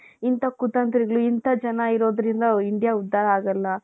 ಇಂತಹ ಕುತಂತ್ರಿಗಳು, ಇಂತಹ ಜನ ಇರೋದ್ರಿಂದ India ಉದ್ಧಾರ ಆಗಲ್ಲ .